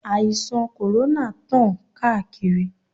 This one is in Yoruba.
Àìsàn kòrónà tán káàkiri.